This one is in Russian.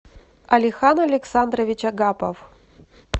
алихан александрович агапов